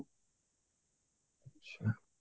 ଆଚ୍ଛା